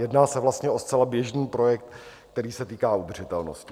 Jedná se vlastně o zcela běžný projekt, který se týká udržitelnosti.